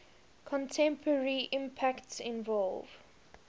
contemporary impacts involve